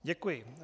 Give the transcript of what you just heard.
Děkuji.